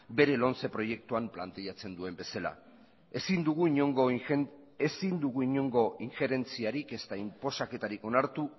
bere lomce proiektuan planteatzen duen bezala ezin dugu inongo ingerentziarik ezta inposaketarik onartu